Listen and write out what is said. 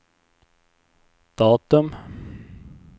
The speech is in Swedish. datum